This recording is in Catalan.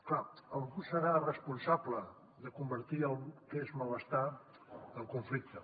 clar algú deu ser responsable de convertir el que és malestar en conflicte